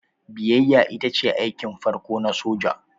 Biyayya ita ce aikin farko na soja.